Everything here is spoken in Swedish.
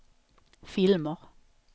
filmer